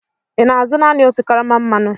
ị na-azụ naanị otu karama mmanụ?